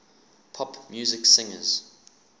pop music singers